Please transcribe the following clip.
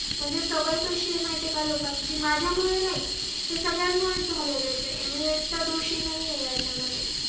म्हणजे सवय काशीला लोकांची माझ्या मुळे नाही हे सगळ्यांमुळे झालेले आहे मी ऐकथा दोषी नाहीए याचा मध्ये